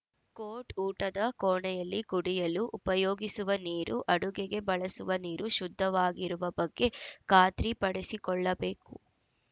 coat ಊಟದ ಕೋಣೆಯಲ್ಲಿ ಕುಡಿಯಲು ಉಪಯೋಗಿಸುವ ನೀರು ಅಡುಗೆಗೆ ಬಳಸುವ ನೀರು ಶುದ್ಧವಾಗಿರುವ ಬಗ್ಗೆ ಖಾತ್ರಿಪಡಿಸಿಕೊಳ್ಳಬೇಕು